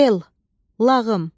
L, lağım.